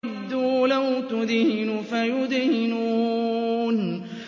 وَدُّوا لَوْ تُدْهِنُ فَيُدْهِنُونَ